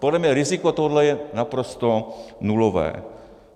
Podle mě riziko tohoto je naprosto nulové.